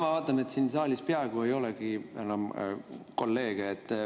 Ma vaatan, et siin saalis peaaegu ei olegi enam kolleege.